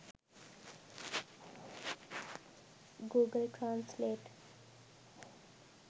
google translate